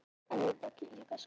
Ómar fékk umhverfisverðlaun